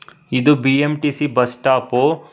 ಇದು BMTC bus stop .